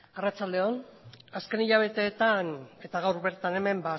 arratsalde on azken hilabeteetan eta gaur bertan hemen